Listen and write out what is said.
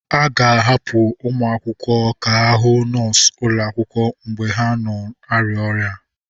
A ga-ahapụ ụmụ akwụkwọ ka ha hụ nọọsụ ụlọ akwụkwọ mgbe ha na-arịa ọrịa.